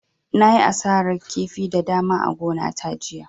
Na yi asarar kifi da dama a gona ta jiya